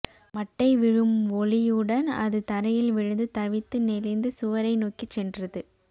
மட்டை விழும் ஒலியுடன் அது தரையில் விழுந்து தவித்து நெளிந்து சுவரை நோக்கிச் சென்றது